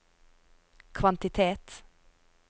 kvantitet